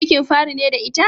Cikin fari ne da ita?